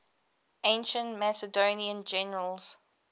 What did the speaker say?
ancient macedonian generals